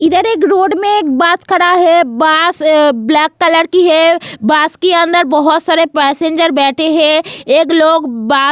इधर एक रोड में एक बस खड़ा है बस ब्लैक कलर की है बस के अंदर बहुत सारे पैसेंजर बैठे हैं एक लोग --